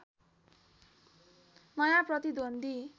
नयाँ प्रतिद्वन्द्वी